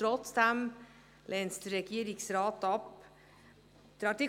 Trotzdem lehnt der Regierungsrat es ab.